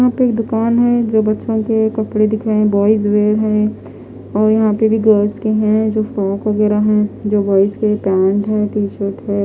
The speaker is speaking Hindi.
यहां पे एक दुकान है जो बच्चों के कपड़े दिखाएं बॉयज वेयर है और यहां पे भी गर्ल्स के हैं जो फ्रॉक वगैरा है जो बॉयज के पैंट है टी शर्ट है।